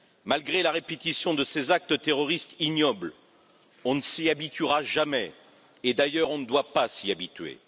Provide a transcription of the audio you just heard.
Malgré la répétition de ces actes terroristes ignobles, on ne s'y habituera jamais et d'ailleurs, on ne doit pas s'y habituer.